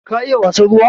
Ka iya wasan ruwa?